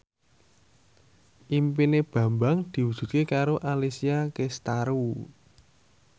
impine Bambang diwujudke karo Alessia Cestaro